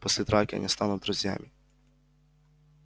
после драки они станут друзьями